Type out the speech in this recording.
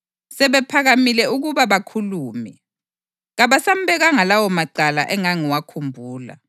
Sebephakamile ukuba bakhulume, kabasambekanga lawomacala engangiwakhumbula.